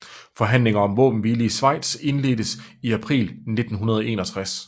Forhandlinger om våbenhvile i Schweiz indledtes i april 1961